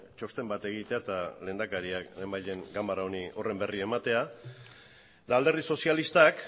txosten bat egitea eta lehendakariak lehen bait lehen ganbara honi horren berri ematea eta alderdi sozialistak